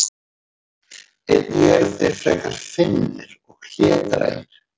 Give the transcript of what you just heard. einnig eru þeir frekar feimnir og hlédrægir